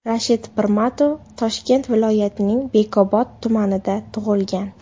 Rashid Pirmatov Toshkent viloyatining Bekobod tumanida tug‘ilgan.